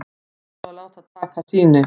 Íhuga að láta taka sýni